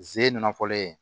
Ze nafɔlen